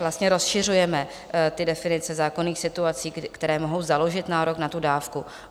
Vlastně rozšiřujeme ty definice zákonných situací, které mohou založit nárok na tu dávku.